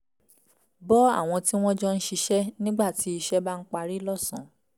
bọ́ àwọn tí wọ́n jọ ń ṣiṣẹ́ nígbà tí iṣẹ́ bá ń parí lọ́sàn-án